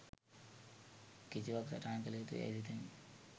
කිසිවක් සටහන් කළ යුතු යැයි සිතමි.